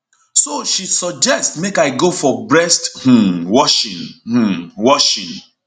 so she suggest make i go for breast um washing um washing